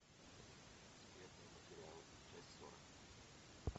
секретные материалы часть сорок